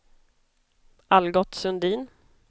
Algot Sundin